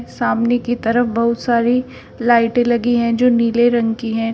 सामने की तरफ बहुत सारी लाइटे लगी है जो नीले रंग की है।